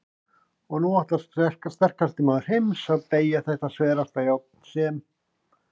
Og nú ætlar sterkasti maður heims að BEYGJA ÞETTA SVERASTA JÁRN SEM